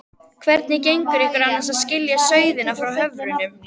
Hvernig gengur ykkur annars að skilja sauðina frá höfrunum?